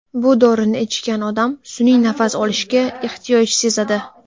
Bu dorini ichgan odam sun’iy nafas olishga ehtiyoj sezadi.